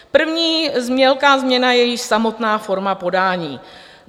První velká změna je již samotná forma podání.